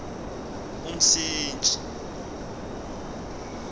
umsintsi